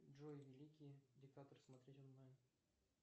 джой великий диктатор смотреть онлайн